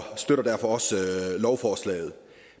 støtter derfor også lovforslaget